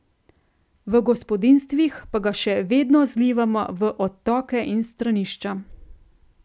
V gospodinjstvih pa ga še vedno zlivamo v odtoke in stranišča.